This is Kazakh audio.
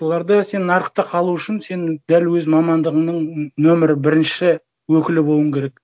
оларда сен нарықта қалу үшін сен дәл өз мамандығыңның нөмірі бірінші өкілі болуың керек